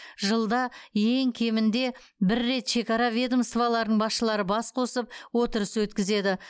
жылда ең кемінде бір рет шекара ведомстволарының басшылары бас қосып отырыс өткізеді